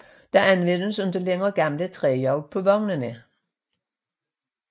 Der anvendes ikke længere gamle træhjul på vognene